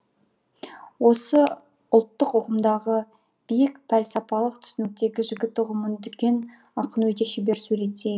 осы ұлттық ұғымдағы биік пәлсапалық түсініктегі жігіт ұғымын дүкен ақын өте шебер суреттей